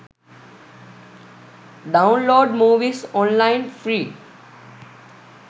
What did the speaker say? download movies online free